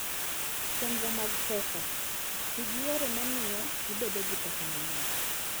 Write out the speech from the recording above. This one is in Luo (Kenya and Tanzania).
Chenro mag Pesa: Ti gi yore ma miyo ibedo gi pesa mang'eny.